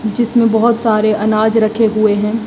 जिसमें बहुत सारे अनाज रखे हुए हैं।